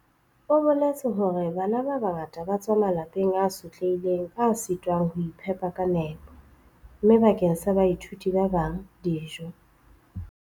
O boletse hore "Bana ba bangata ba tswa malapeng a sotlehileng a sitwang ho iphepa ka nepo, mme bakeng sa baithuti ba bang, dijo"